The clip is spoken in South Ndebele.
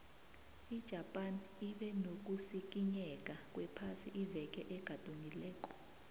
ijapan ibe nokusikinyeka kwephasi iveke egadungileko